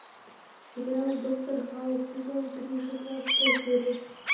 сериал доктор хаус сезон три шестнадцатая серия